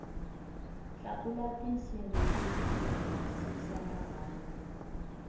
tlakula tinsimbhi ku tiyisisa marhambu